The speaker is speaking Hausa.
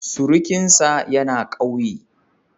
Surukinsa yana ƙauye.